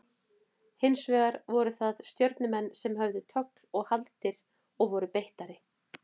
Hins vegar voru það Stjörnumenn sem höfðu tögl og haldir og voru beittari.